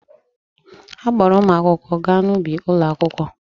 A kpọọrọ ụmụ akwụkwọ gaa n'ubi ụlọakwụkwọ.